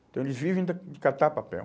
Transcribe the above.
Então, eles vivem de de catar papel.